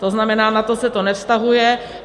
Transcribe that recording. To znamená, na to se to nevztahuje.